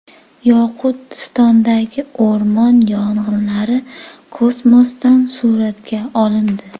Yoqutistondagi o‘rmon yong‘inlari kosmosdan suratga olindi.